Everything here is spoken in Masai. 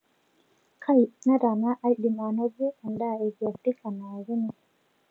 kai netaana aadim ainoto edaa ekiafrika nayakini